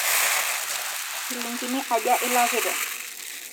Shilingini aja ilakita